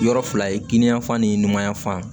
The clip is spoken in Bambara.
Yɔrɔ fila ye kinni ya fan ni ɲumanya fan